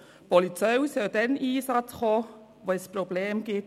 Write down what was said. Die Polizei soll dann zum Einsatz kommen, wenn es Probleme gibt.